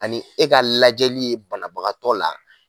Ani e ka lajɛli ye banabagatɔ la.